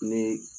Ni